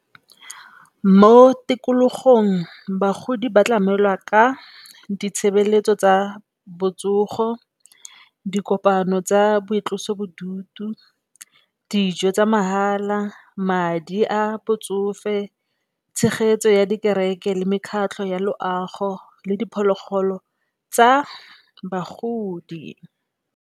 Mo tikologong bagodi ba tlamelwa ka ditshebeletso tsa botsogo, dikopano tsa boitlosobodutu, dijo tsa mahala, madi a botsofe, tshegetso ya di kereke le mekgatlho ya loago le diphologolo tsa bagodi.